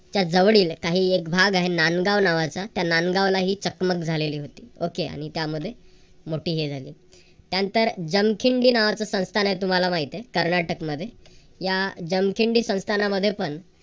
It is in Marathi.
च्या जवळील काही एक भाग आहे. नांदगाव नावाचा. त्या नांदगावला ही चकमक झालेली होती. okay आणि त्यामध्ये मोठी हे झाली. त्यानंतर जमखिंडी नावाचं संस्थान आहे तुम्हाला माहित आहे कर्नाटक मध्ये या जमखिंडी संस्थानामध्ये पण